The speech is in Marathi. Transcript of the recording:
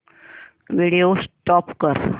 व्हिडिओ स्टॉप कर